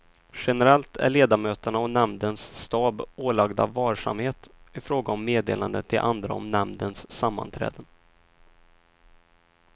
Generellt är ledamöterna och nämndens stab ålagda varsamhet ifråga om meddelanden till andra om nämndens sammanträden.